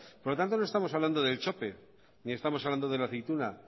por lo tanto no estamos hablando del chope ni estamos hablando de la aceituna